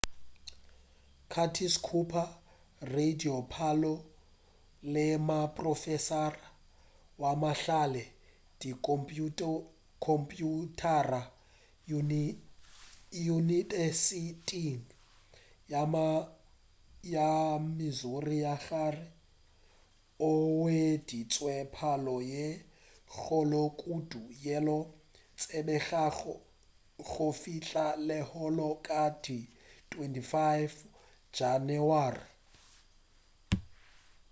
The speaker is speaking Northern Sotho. curtis cooper radipalo le moprofesara wa mahlale a dikhomphuthara yunibesithing ya missouri ya gare o hweditše palo ye kgolo kudu yeo e tsebegago go fihla lehono ka di 25 janeware